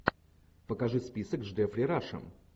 покажи список с джеффри рашем